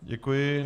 Děkuji.